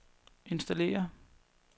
installere